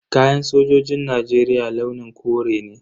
Kayan sojin Najeriya launin kore ne.